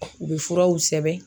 U bɛ furaw sɛbɛn.